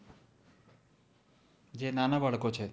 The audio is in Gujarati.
જે નાના બાળકો છે